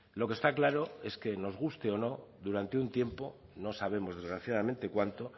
lo que está claro es que nos guste o no durante un tiempo no sabemos desgraciadamente cuánto